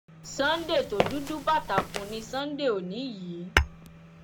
sunday tó dúdú bàtàkùn ní sunday òní yìí